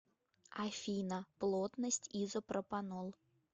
афина плотность изопропанол